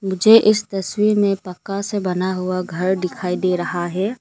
मुझे इस तस्वीर में पक्का से बना हुआ घर दिखाई दे रहा है।